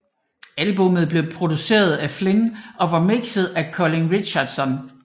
Albummet blev produceret af Flynn og mikset af Colin Richardson